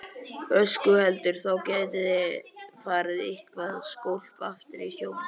Höskuldur: Þá gæti farið eitthvað skólp aftur í sjóinn?